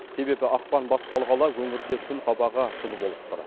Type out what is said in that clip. себебі ақпан басталғалы өңірде күн қабағы жылы болып тұр